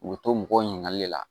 U bɛ to mɔgɔw ɲininkali le la